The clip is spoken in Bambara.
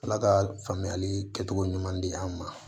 Ala ka faamuyali kɛcogo ɲuman di an ma